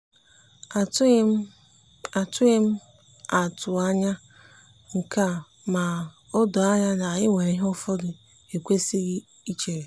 atụghị atụghị m atụ anya nke a ma o doo anya na e nwere ihe ụfọdụ ekwesịghị ichere.